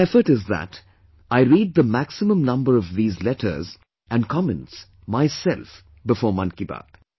My effort is that I read the maximum number of these letters and comments myself before Mann Ki Baat